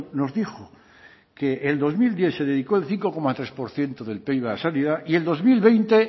nos dijo que el dos mil diez se dedicó el cinco coma tres por ciento del pib a sanidad y el dos mil veinte